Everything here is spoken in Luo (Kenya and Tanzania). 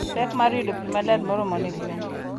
Pek mar yudo pi maler moromo ne gwen.